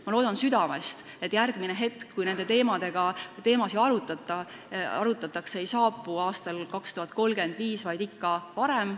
Ma loodan südamest, et järgmine kord, kui neid teemasid arutatakse, ei ole aastal 2035, vaid ikka varem.